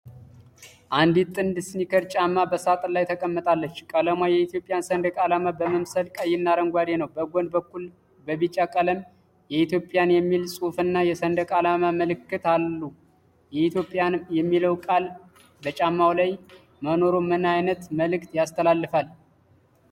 አንዲት ጥንድ ስኒከር ጫማ በሳጥን ላይ ተቀምጣለች። ቀለሟ የኢትዮጵያን ሰንደቅ ዓላማ በመምሰል ቀይና አረንጓዴ ነው። በጎን በኩል በቢጫ ቀለም 'ኢትዮፕያን' የሚል ጽሑፍና የሰንደቅ ዓላማ ምልክት አሉ። የ'ኢትዮፕያን' የሚለው ቃል በጫማው ላይ መኖሩ ምን መልዕክት ያስተላልፋል?